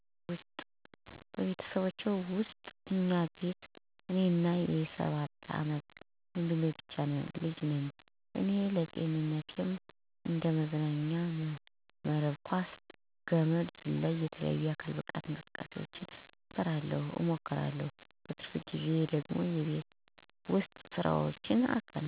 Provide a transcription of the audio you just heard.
በቤተሰቦቼ ውስጥ እኛ ቤት እኔና የ ሰባት አመት ወንድሜ ብቻ ነን ልጆች ... እኔ ለጤንነትም እንደ መዝናኛም መረብ ኳስ፣ ገመድ ዝላይ፣ የተለያዩ የአካል ብቃት እንቅስቃሴውችን እሰራለሁ እሞክራለሁ። በትርፍ ጊዜየ ደግሞ የቤት ውስጥ ስራውችን እናቴን አግዛታለሁኝ። መፅሀፎችን አነባለሁኝ ለምሳሌ፦ እንደ ታሪክ ያሉ፦ ልብወለዶችን፥ የግጥም መፅሀፎችን አነባለሁ የተለያዪ የአማርኛም የእንግሊዘኛም ተከታታይ የሆኑትንም ያልሆኑትንም ድራማውችን፦ ቃለ መጠየቆችን፦ ወጎች፦ ዜናውችን እመለከታለሁኝ። ወንድሜ ደግሞ፦ እግር ኳስ ይጫወታል። የአሻንጉሊት ፊልሞችን፣ ተረቶችን ያነባል ያያል።